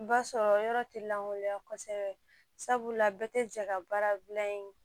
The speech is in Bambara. Ba sɔrɔ yɔrɔ tɛ lankolonya kosɛbɛ sabula bɛɛ tɛ jɛ ka baara dilan in